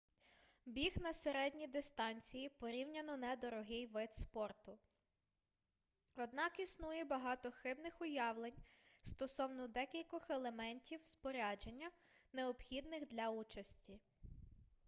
біг на середні дистанції порівняно недорогий вид спорту однак існує багато хибних уявлень стосовно декількох елементів спорядження необхідних для участі